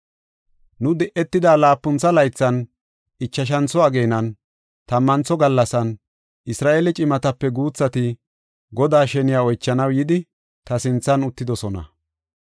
Nu di7etida laapuntho laythan, ichashantho ageenan, tammantho gallasan, Isra7eele cimatape guuthati Godaa sheniya oychanaw yidi, ta sinthan uttidosona.